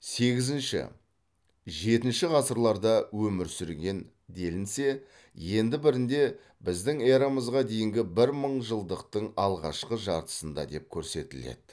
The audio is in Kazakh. сегізінші жетінші ғасырларда өмір сүрген делінсе енді бірінде біздің эрамызға дейінгі бір мыңжылдықтың алғашқы жартысында деп көрсетіледі